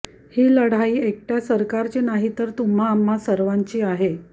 ही लढाई एकट्या सरकारची नाही तर तुम्हा आम्हा सर्वांची आहे